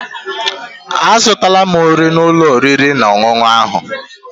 Azụtala m nri n'ụlọ oriri na ọṅụṅụ ahụ.